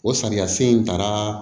O sariya sen in taara